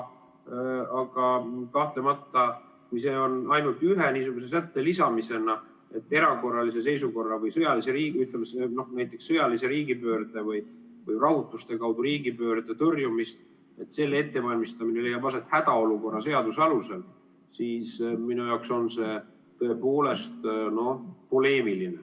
Aga kahtlemata, kui see on ainult ühe niisuguse sätte lisamisena, et erakorralise seisukorra või sõjalise riigipöörde või rahutuste või riigipöörde tõrjumise ettevalmistamine leiab aset hädaolukorra seaduse alusel, siis minu jaoks on see tõepoolest poleemiline.